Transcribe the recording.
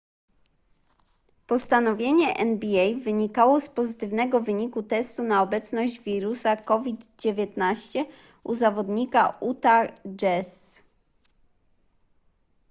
postanowienie nba wynikało z pozytywnego wyniku testu na obecność wirusa covid-19 u zawodnika utah jazz